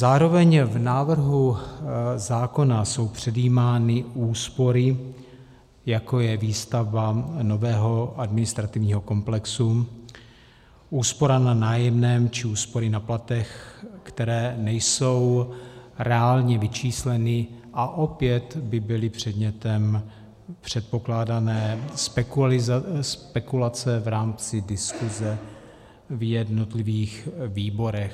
Zároveň v návrhu zákona jsou předjímány úspory, jako je výstavba nového administrativního komplexu, úspora na nájemném či úspory na platech, které nejsou reálně vyčísleny a opět by byly předmětem předpokládané spekulace v rámci diskuze v jednotlivých výborech.